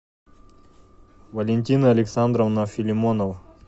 валентина александровна филимонова